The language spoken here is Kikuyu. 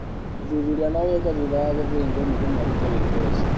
ũthuthuria no wĩkwo thutha wa gũthĩnjwo nĩguo marute wimbe ũcio.